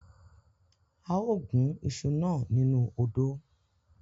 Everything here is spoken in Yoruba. A o gun iṣu nà nínú odò